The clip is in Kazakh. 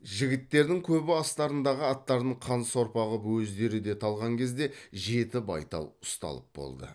жігіттердің көбі астарындағы аттарын қан сорпа қып өздері де талған кезде жеті байтал ұсталып болды